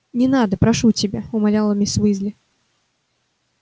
не надо прошу тебя умоляла миссис уизли